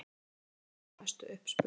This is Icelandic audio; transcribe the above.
Persónur þeirra eru að mestu uppspuni.